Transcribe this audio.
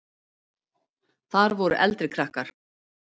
Þar voru eldri krakkar.